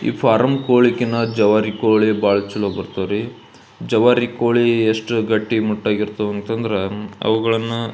ಈ ಫಾರಂ ಕೋಳಿ ಕಿಂತ ಜವಾರಿ ಕೋಳಿ ಬಹಳ ಚಲೋ ಬರತವ ರೀ ಜವಾರಿ ಕೋಳಿ ಎಷ್ಟು ಗಟ್ಟಿ ಮುತ್ತಗಿ ಇರ್ತವೆ ಅಂದ್ರ ಅವುಗಳನ್ನ --